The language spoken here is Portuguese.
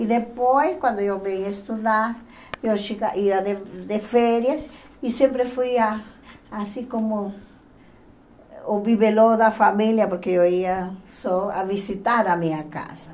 E depois, quando eu vim estudar, eu chega ia de de férias e sempre fui, a assim como o bibelô da família, porque eu ia só visitar a minha casa.